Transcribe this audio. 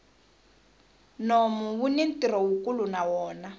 nomu wuni ntirho wukulu na wona